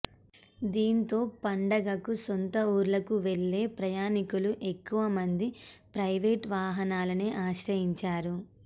దీంతో పండగకు సొంత ఊర్లకు వెళ్లే ప్రయాణికులు ఎక్కువ మంది ప్రైవేటు వాహనాలనే ఆశ్రయించారు